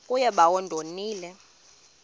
kuye bawo ndonile